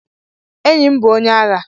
Enyi m bụ onye agha.